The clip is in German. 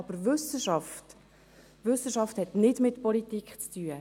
Aber Wissenschaft hat nichts mit Politik zu tun.